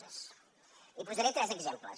n’hi posaré tres exemples